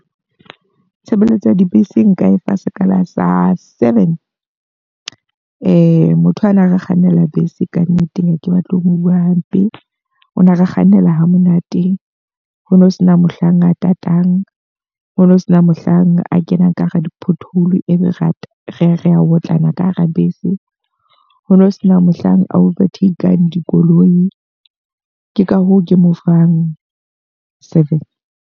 Tshebeletso ya dibese nka e fa sekala sa seven. Motho a na re kgannela bese ka nnete ha ke batle ho bua hampe, o na re kgannela ha monate. Ho no sena mohlang a tatang, ho no sena mohlang a kenang ka hara di-pothole, e be re a re a otlana ka hara bese, hono sena mohlang a over take-ng dikoloi, ke ka hoo ke mo fang seven.